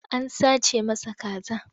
An sace masa kaza.